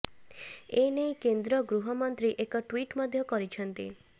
ଏ ନେଇ କେନ୍ଦ୍ର ଗୃହମନ୍ତ୍ରୀ ଏକ ଟ୍ୱିଟ୍ ମଧ୍ୟ କରିଛନ୍ତି